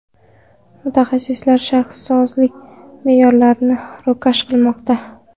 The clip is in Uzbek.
Mutasaddilar shaharsozlik me’yorlarini ro‘kach qilmoqda.